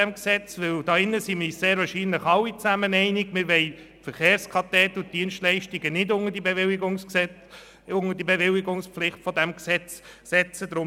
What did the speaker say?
In diesem Saal sind wir uns wahrscheinlich alle darin einig, dass wir die Verkehrskadetten und ihre Dienstleistungen nicht der Bewilligungspflicht im Sinne dieses Gesetzes unterstellen wollen.